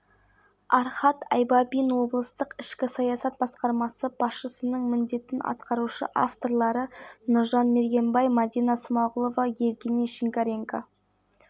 кей уақытта екпіні болады кей жерлерде тұман көктайғақ күтіледі солтүстік қазақстан облысында желдің күші кей